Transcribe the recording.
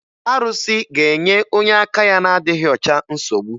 Arụsị ga-enye onye aka ya na-adịghị ọcha nsogbu